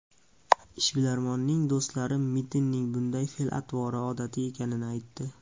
Ishbilarmonning do‘stlari Mitinning bunday fe’l-atvori odatiy ekanini aytdi.